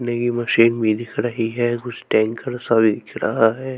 की मशीन भी दिख रही है कुछ टैंकर सा भी दिख रहा है।